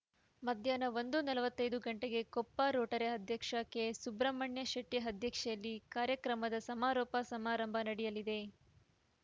ಮಧ್ಯಾಹ್ನ ಒಂದು ನಲವತ್ತೈದು ಗಂಟೆಗೆ ಕೊಪ್ಪ ರೋಟರಿ ಅಧ್ಯಕ್ಷ ಕೆಎಸ್‌ ಸುಬ್ರಹ್ಮಣ್ಯ ಶೆಟ್ಟಿಅಧ್ಯಕ್ಷತೆಯಲ್ಲಿ ಕಾರ್ಯಕ್ರಮದ ಸಮಾರೋಪ ಸಮಾರಂಭ ನಡೆಯಲಿದೆ